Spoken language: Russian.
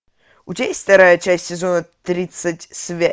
у тебя есть вторая часть сезона тридцать